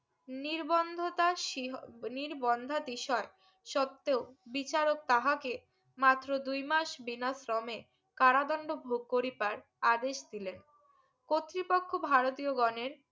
নির্বন্ধতার সীহ নির্বন্ধা তিসার সত্যে বিচারক তাহাকে মাত্র দুই মাস বিনাশ্রমে কারাদন্ড ভোগ করিপায় আদেশ দিলেন কর্তৃপক্ষ ভারতীয় গনের